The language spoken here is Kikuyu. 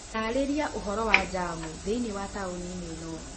Taarĩria ũhoro wa jamu thĩinĩ wa taũni ĩno